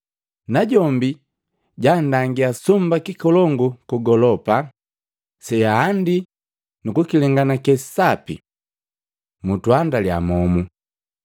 Najombi jandangia sumba kikolongu kugolopa seahandii nukukilenganake sapi. Mutuandalya momu.”